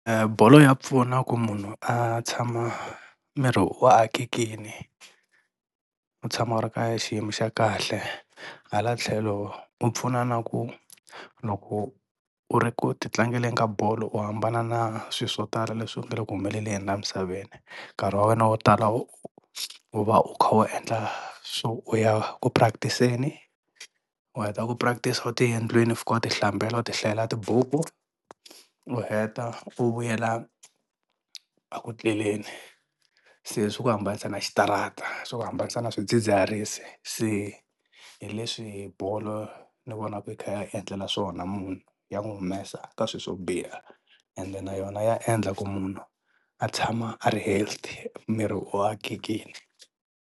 Bolo ya pfuna ku munhu a tshama miri wu akekini u tshama u ri ka xiyimo xa kahle hala tlhelo u pfuna na ku loko u ri ku ti tlangeleni ka bolo u hambana na swi swo tala leswi nga le ku humeleleni laha misaveni, nkarhi wa wena wo tala u u va u kha u endla swo u ya ku practice-eni u heta ku practice u tiyela endliweni u fika u ti hlambela u ti hlayela tibuku u heta u vuyela a ku tleleni. Se swi ku hambanisa na xitarata swi ku hambanisa na swidzidziharisi se hi leswi bolo ni vonaka yi kha yi hi endlela swona munhu ya n'wi humesa ka swilo swo biha ende na yona ya endla ku munhu a tshama a ri healthy miri wu akekini.